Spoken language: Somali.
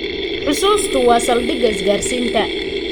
Xusuustu waa saldhigga isgaarsiinta.